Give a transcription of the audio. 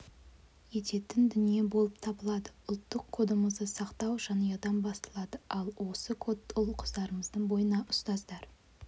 ететін дүние болып табылады ұлттық кодымызды сақтау жанұядан басталады ал осы кодты ұл-қыздарымыздың бойына ұстаздар